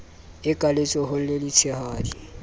e ka letsohong le letshehadi